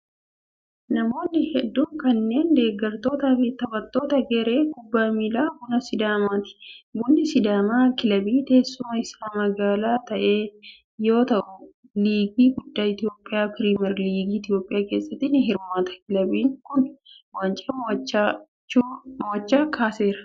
Namoonni hedduun kunneen, deeggartoota fi taphattoota garee kubbaa miilaa Buna Sidaamaati. Bunni Sidaamaa kilabii teessumni isaa magaalaa ta'e yoo ta'u, liigii guddaa Itoophiyaa pirimar liigii Itoophiyaa keessatti ni hirmaata. Kilabiin kun, waancaa mo'ichaa kaaseera.